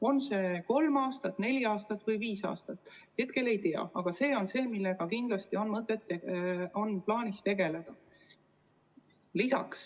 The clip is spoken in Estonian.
On see kolm aastat, neli aastat või viis aastat, seda me hetkel ei tea, aga see on teema, millega kindlasti on plaanis tegeleda.